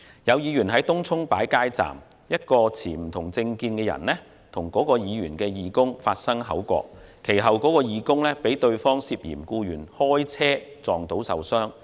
有候選人在東涌擺設街站，一名持不同政見人士與他的義工發生口角，其後該義工更遭對方涉嫌故意開車撞倒受傷。